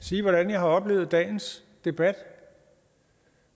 sige hvordan jeg har oplevet dagens debat